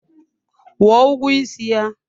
Kwụọ ụgwọ isi ya!